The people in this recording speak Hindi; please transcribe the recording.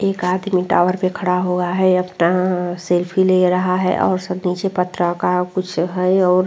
एक आदमी टावर पे खड़ा हुआ है अपना सेल्फी ले रहा है और स नीचे पथराव का कुछ है और --